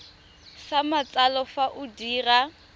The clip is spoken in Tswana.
sa matsalo fa o dira